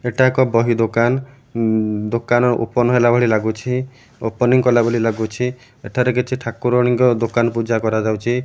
ଏଟା ଏକ ବହି ଦୋକାନ ଦୋକାନ ଉଁ ଓପନ୍ ହେଲା ଭଳି ଲାଗୁଛି ଓପନିଂ କଲା ଭଳି ଲାଗୁଛି ଏଠାରେ କିଛି ଠାକୁରାଣୀଙ୍କ ଦୋକାନ ପୂଜା କରାଯାଉଚି।